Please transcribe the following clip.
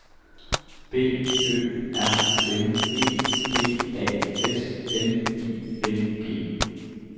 B Ø R N E P A S N I N G